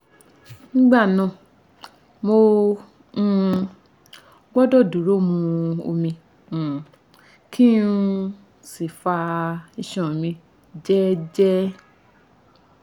nígbà náà mo um gbọdọ̀ dúró mu omi um kí um n sì fa iṣan mi jẹ́ẹ́jẹ́ẹ́